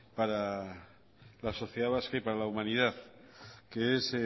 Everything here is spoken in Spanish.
para la sociedad vasca y para la humanidad que es